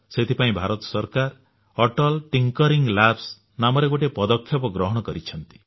ସେଥିପାଇଁ ଭାରତ ସରକାର Atal thinking lab ନାମରେ ଗୋଟିଏ ପଦକ୍ଷେପ ଗ୍ରହଣ କରିଛନ୍ତି